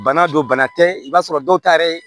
Bana don bana tɛ i b'a sɔrɔ dɔw ta yɛrɛ